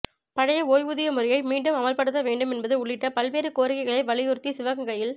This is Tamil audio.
பழைய ஓய்வூதிய முறையை மீண்டும் அமல்படுத்தவேண்டும் என்பது உள்ளிட்ட பல்வேறு கோரிக்கைகளை வலியுறுத்தி சிவகங்கையில்